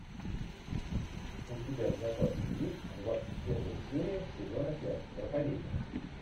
у тебя в запасе есть двадцать первая серия сезона пять проповедник